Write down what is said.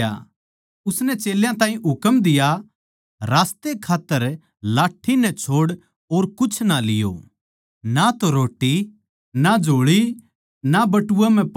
उसनै चेल्यां ताहीं हुकम दिया रास्तै खात्तर लाठ्ठी नै छोड़ और कुछ ना लियो ना तो रोट्टी ना झोळी ना बटुए म्ह पिसे